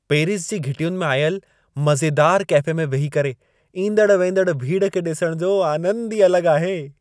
Paris जी घिटियुनि में आयल मज़ेदार कैफ़े में वेही करे ईंदड़-वेंदड़ भीड़ खे ॾिसण जो आनंद ई अलॻु आहे।